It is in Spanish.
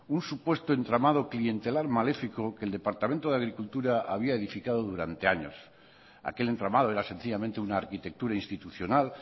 un supuesto entramado clientelar maléfico que el departamento de agricultura había edificado durante años aquel entramado era sencillamente una arquitectura institucional